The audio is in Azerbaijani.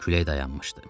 Külək dayanmışdı.